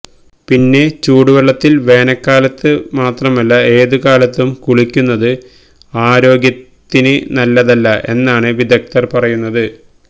പിന്നെ ചൂടുവെളളത്തില് വേനല്കാലത്ത് എന്ന് മാത്രമല്ല ഏതു കാലത്തും കുളിക്കുന്നത് ആരോഗ്യത്തിന് നല്ലതല്ല എന്നാണ് വിദഗ്ധര് പറയുന്നത്